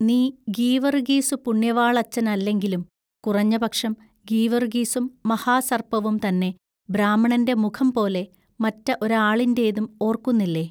നീ ഗീവറുഗീസു പുണ്യവാളച്ചനല്ലെങ്കിലും കുറഞ്ഞ പക്ഷം ഗീവറുഗീസും മഹാ സൎപ്പവും തന്നെ ബ്രാഹ്മണന്റെ മുഖംപോലെ മറ്റ ഒരാളിന്റേതും ഓൎക്കുന്നില്ലേ?